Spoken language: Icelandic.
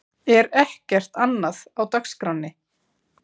Er ekkert annað á dagskránni?